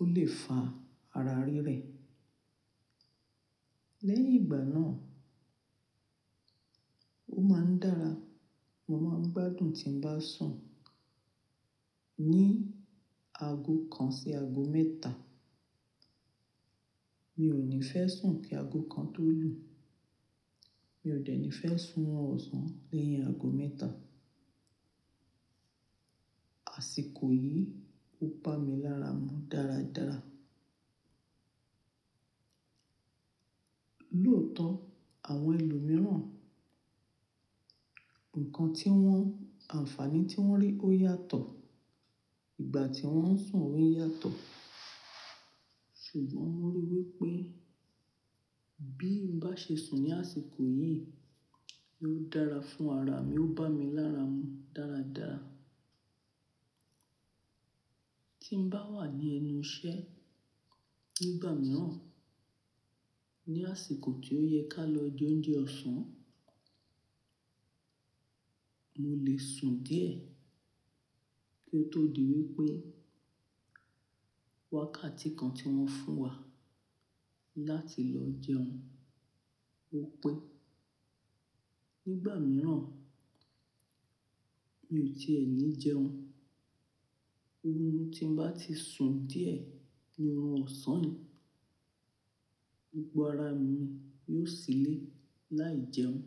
ó lè fà ara rí rẹ̀. Lẹ́yìn ìgbà náà, ó máa ń dára. Mo máa ń gbádùn tí n bá sùn ní aago kan sí aago mẹ́ta. Mi ò ní fẹ́ sùn kí aago kan tó lù. Mi ò dẹ̀ ní fẹ́ sùn ọ̀sán lẹ́yìn aago mẹ́ta. Àsìkò yìí ó ba mi láramú dáradára. Lóòótọ́, àwọn ènìyàn mìíràn, nǹkan tí wọ́n, àǹfààní tí wọ́n rí ó yàtọ̀. Ìgbà tí wọ́n ń sùn òun yàtọ̀. Ṣùgbọ́n mo rí i wípé bí n bá ṣe sùn ní àsìkò yìí, yóò dára fún ara mi, ó bá mi láramú dáradára. Tí n bá wà ní ẹnu iṣẹ́ nígbà mìíràn, ní àsìkò tí ó yẹ ká lọ jẹ oúnjẹ ọ̀sán, mo lè sùn díẹ̀ kí ó tó di wípé wákàtí kan tí wọ́n fún wa láti lọ jẹun ó pé. Nígbà mìíràn, mi ò ti ẹ ní jẹun. Oorun tí n bá ti sùn díẹ̀ ni oorun ọ̀sán ni. Gbogbo ara mi yóò silẹ̀ láì jẹun.